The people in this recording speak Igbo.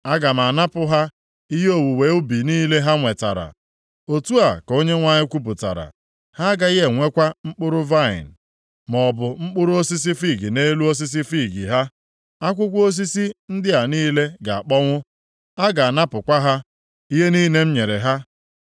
“ ‘Aga m anapụ ha ihe owuwe ubi niile ha nwetara, otu a ka Onyenwe anyị kwupụtara. Ha agaghị enwekwa mkpụrụ vaịnị, maọbụ mkpụrụ osisi fiig nʼelu osisi fiig ha. Akwụkwọ osisi ndị a niile ga-akpọnwụ. A ga-anapụkwa ha ihe niile m nyere ha.’ ”